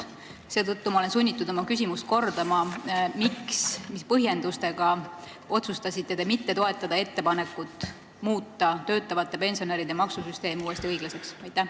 Seetõttu ma olen sunnitud oma küsimust kordama: miks, milliste põhjenduste alusel te otsustasite mitte toetada ettepanekut muuta töötavate pensionäride maksusüsteem uuesti õiglaseks?